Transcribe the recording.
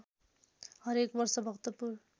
हरेक वर्ष भक्तपुर